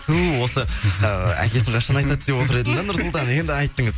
ту осы ы әкесін қашан айтады деп отыр едім да нұрсұлтан енді айттыңыз